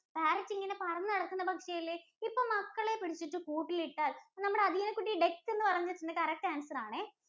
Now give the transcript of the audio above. Parrot ഇങ്ങനെ പറന്ന് നടക്കുന്ന പക്ഷി അല്ലേ. ഇപ്പൊ മക്കളെ പിടിച്ചിട്ട് കൂട്ടിൽ ഇട്ടാൽ നമ്മുടെ നമ്മടെ കുട്ടി Duck എന്ന് പറഞ്ഞിട്ടുണ്ട്. correct answer ആണേ.